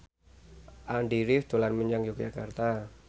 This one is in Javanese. Andy rif dolan menyang Yogyakarta